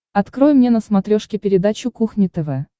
открой мне на смотрешке передачу кухня тв